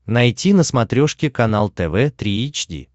найти на смотрешке канал тв три эйч ди